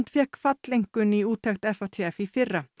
fékk falleinkunn í úttekt FATF í fyrra